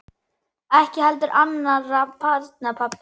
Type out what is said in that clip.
Ekki heldur annarra barna pabbi.